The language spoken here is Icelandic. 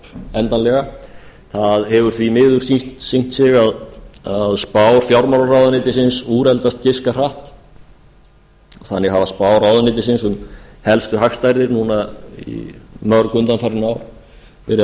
endanlega það hefur því miður sýnt sig að spá fjármálaráðuneytisins úreldast giska hratt þannig hafa spár ráðuneytisins um helstu hagstærðir núna mörg undanfarin ár verið